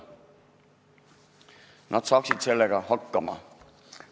Nad saaksid sellega hakkama.